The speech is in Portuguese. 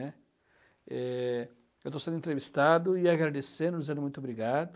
né? Eh,,, Eu estou sendo entrevistado e agradecendo, dizendo muito obrigado.